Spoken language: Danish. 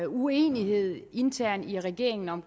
uenighed internt i regeringen om